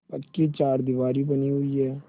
पक्की चारदीवारी बनी हुई है